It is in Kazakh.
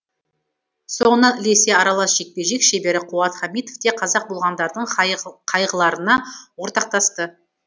соңынан ілесе аралас жекпе жек шебері қуат хамитов те қаза болғандардың қайғыларына ортақтасты